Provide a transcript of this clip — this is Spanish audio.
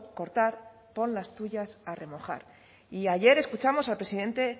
cortar pon las tuyas a remojar y ayer escuchamos al presidente